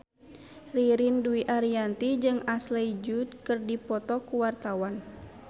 Ririn Dwi Ariyanti jeung Ashley Judd keur dipoto ku wartawan